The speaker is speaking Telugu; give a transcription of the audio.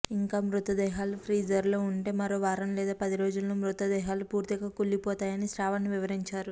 ఇంకా మృతదేహాలు ప్రీజర్లలో ఉంటే మరో వారం లేదా పది రోజుల్లో మృత దేహాలు పూర్తిగా కుళ్లిపోతాయని శ్రావణ్ వివరించారు